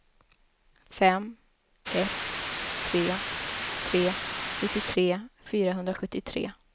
fem ett tre tre nittiotre fyrahundrasjuttiotre